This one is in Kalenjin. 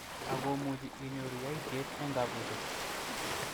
Akomuch inyoru yaityet eng kabuset.